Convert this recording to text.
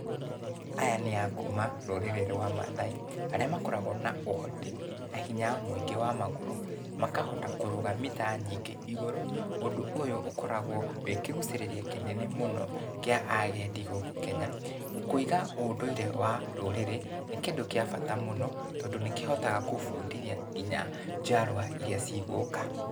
Aya nĩ a kuuma rũrĩrĩ rwa mathai arĩa makoragwo na ũhoti na hinya mũingĩ wa magũrũ, makahota kũrũga mita nyingĩ igũrũ ũndũ ũyũ ũkoragwo wĩ kĩguucĩrĩria kĩnene mũno kĩa agendi gũkũ Kenya. Kũiga ũndũire wa ndũrĩrĩ nĩ kĩndũ gĩa bata mũno tondũ nĩ kĩhotaga gũbundithia nginya njiarwa irĩa ci gũka.